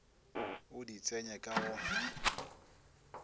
o di tsenye ka go